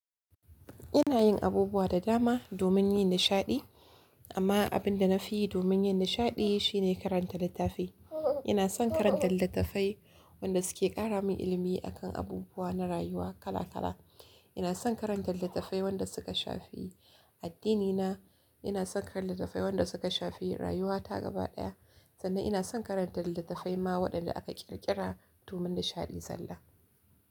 Ina yin abubuwa da dama domin yin nishaɗi, amma abin da na fi yi domin yin nishaɗi shine karanta littafi. Ina son karanta littattafai wanda suke ƙara min ilimi a kan abubuwa na rayuwa kala kala. Ina son karanta littattafai wanda suka shafi addinina. Ina son karanta littattafai wanda suka shafi rayuwata gaba ɗaya, sannan ina son karanta littattafai ma waɗanda aka ƙirƙira domin nishaɗi zalla.